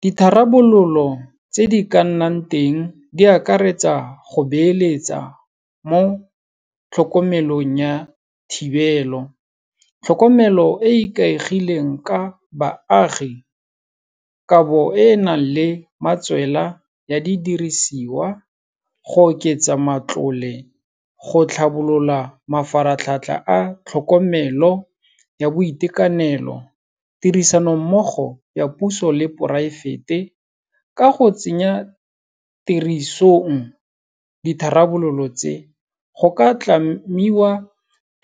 Ditharabololo tse di ka nnang teng di akaretsa go beeletsa mo tlhokomelong ya thibelo, tlhokomelo e e ikaegileng ka baagi, kabo e e nang le matswela ya di dirisiwa, go oketsa matlole, go tlhabolola mafaratlhatlha a tlhokomelo ya boitekanelo, tirisanommogo ya puso le poraefete. Ka go tsenya tirisong ditharabololo tse, go ka tlamiwa